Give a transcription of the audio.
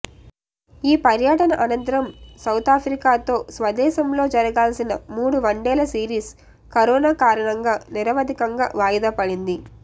ఈ పర్యటన అనంతరం సౌతాఫ్రికాతో స్వదేశంలో జరగాల్సిన మూడు వన్డేల సిరీస్ కరోనా కారణంగా నిరవధికంగా వాయిదాపడింది